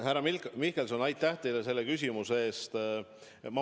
Härra Mihkelson, aitäh teile selle küsimuse eest!